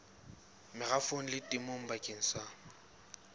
merafong le temong bakeng sa